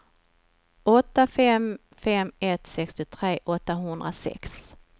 åtta fem fem ett sextiotre åttahundrasex